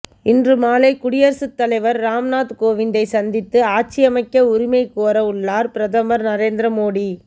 இன்று மாலை குடியரசுத் தலைவர் ராம்நாத் கோவிந்தை சந்தித்து ஆட்சியமைக்க உரிமை கோர உள்ளார் பிரதமர் நரேந்திர மோடி